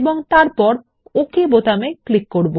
এবং তারপর ওক বাটনে ক্লিক করব